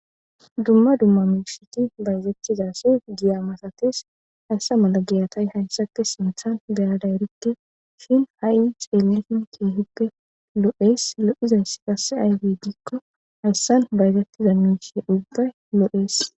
Dumma dumma mishiti bayzettizase giya masates hayssa malagiyatay hayssati sinthan beyaday rikke shin ha7i ceelifin keehippe lo7ees lo7izayss qasse aywe diikko hayssan bayzettiza nuuse ubbay loo7ees.